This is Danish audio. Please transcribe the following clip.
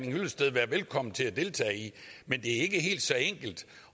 hyllested være velkommen til at deltage i men det er ikke helt så enkelt